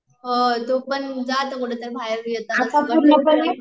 तु पण जा आता कुठंतरी बाहेर